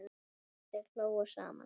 Og þeir hlógu saman.